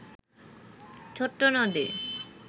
ছোট্ট নদী